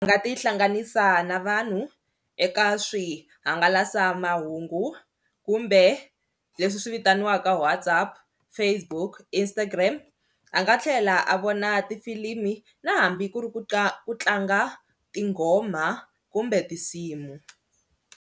U nga tihlanganisa na vanhu eka swihangalasamahungu kumbe leswi swi vitaniwaka WhatsApp, Facebook, Instagram a nga tlhela a vona tifilimi na hambi ku ri ku ku tlanga tinghoma kumbe tinsimu.